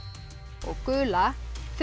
og gula þrjú